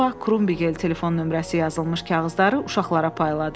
Bu vaxt Krumbigel telefon nömrəsi yazılmış kağızları uşaqlara payladı.